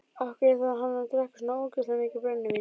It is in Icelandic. Af hverju þarf hann að drekka svona ógeðslega mikið brennivín?